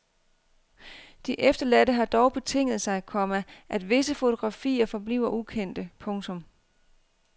De efterladte har dog betinget sig, komma at visse fotografier forbliver ukendte. punktum